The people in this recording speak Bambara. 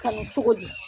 Kalan cogo di